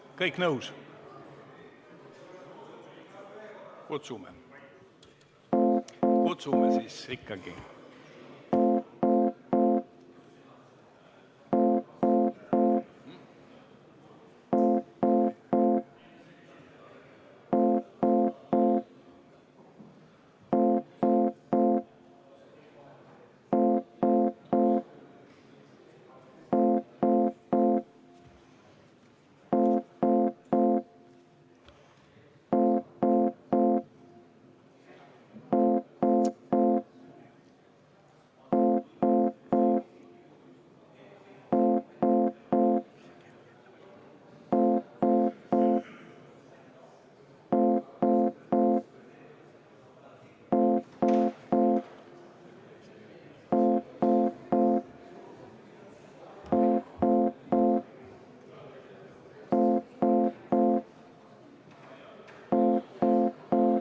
Kas kõik on nõus?